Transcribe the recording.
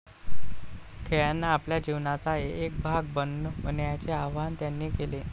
खेळांना आपल्या जीवनाचा एक भाग बनवण्याचे आवाहन त्यांनी केले.